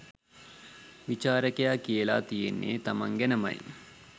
විචාරකයා කියලා තියෙන්නේ තමං ගැනමයි.